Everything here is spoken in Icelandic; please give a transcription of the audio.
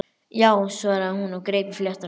Já, svaraði hún og greip í fléttuna.